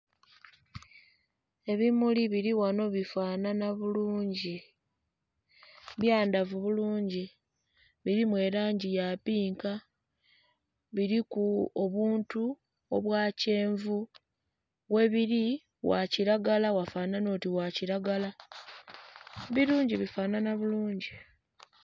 Ebimuli bili ghano bifanhanha bulungi, byandhavu bulungi, bilimu langi ya pinka, biliku obuntu bwa kyenvu webiri wa kilagala wafanhanha oti gha kilagala, birungi bifanhanha bulungi.